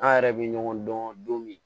An yɛrɛ bɛ ɲɔgɔn dɔn don min